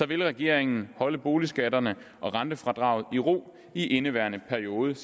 vil regeringen holde boligskatterne og rentefradraget i ro i indeværende periode